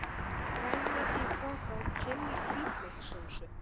grænmeti í poka og chili-hvítlaukssósu.